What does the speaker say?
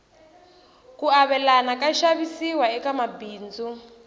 ku avelana ka xavisiwa eka mabindzu